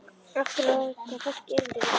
Af hverju á þetta fólk erindi við þig?